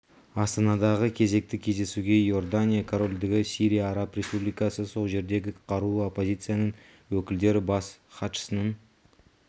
астанадағы кезекті кездесуге иордания корольдігі сирия араб республикасы сол жердегі қарулы оппозицияның өкілдері бас іатшысының